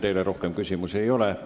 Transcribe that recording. Teile rohkem küsimusi ei ole.